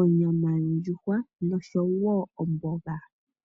ondjuhwa oshowo omboga.